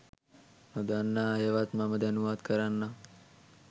නොදන්නා අයවත් මම දැනුවත් කරන්නම්